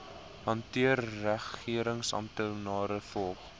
hanteer regeringsamptenare volg